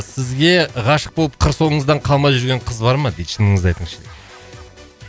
сізге ғашық болып қыр соңыңыздан қалмай жүрген қыз бар ма дейді шыныңызды айтыңызшы